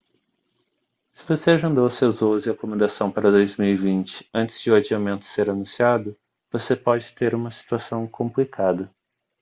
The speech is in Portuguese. se você agendou seus voos e acomodação para 2020 antes de o adiamento ser anunciado você pode ter uma situação complicada